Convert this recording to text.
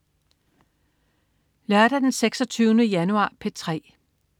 Lørdag den 26. januar - P3: